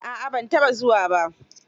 A'a ban taɓa zuwa ba.